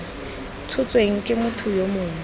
tshotsweng ke motho yo mongwe